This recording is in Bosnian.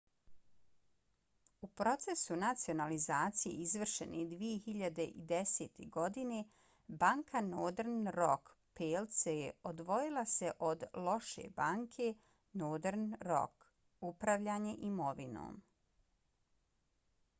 u procesu nacionalizacije izvršene 2010. godine banka northern rock plc odvojila se od 'loše banke' northern rock upravljanje imovinom